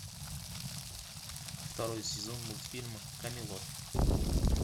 второй сезон мультфильма камелот